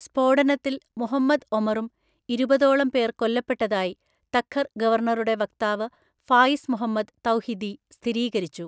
സ്‌ഫോടനത്തിൽ മുഹമ്മദ് ഒമറും ഇരുപതോളം പേർ കൊല്ലപ്പെട്ടതായി തഖർ ഗവർണറുടെ വക്താവ് ഫായിസ് മുഹമ്മദ് തൗഹിദി സ്ഥിരീകരിച്ചു.